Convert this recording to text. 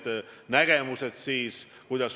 Siia on valitud viis erakonda.